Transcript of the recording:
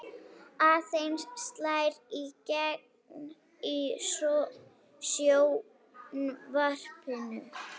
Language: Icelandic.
Eiður slær í gegn í sjónvarpinu